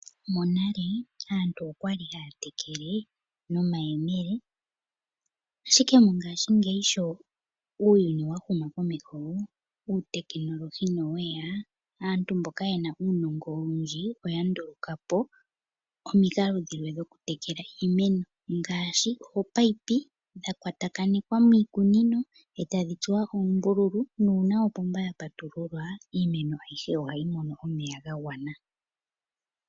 Monale aantu okwali haya tekele nomayemele ashike mongashingeyi sho uuyuni wa huma komeho uutekinolohi noweya, aantu mboka ye na uunongo owundji oya nduluka po omikalo dhilwe dhokutekela iimeno ngaashi ominino dhakwatakanithwa miikunino e tadhi tsuwa oombululu nuuna opomba ya patululwa iimeno ayihe ohayi mono omeya ga gwana.